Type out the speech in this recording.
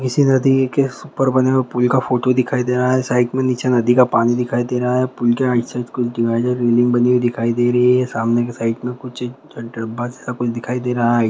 किसी नदी के स ऊपर बने हुए पुल का फोटो दिखाई दे रहा हैं साइड में निचे नदी का पानी दिखाई दे रहा हैं पुल के आइत साइड कुछ दिवाईढर बिल्डिंग बनी हुई दिखाई दे रही हैं सामने के साइड में कुछ च डब्बा सा कुछ दिखाई दे रहा हैं।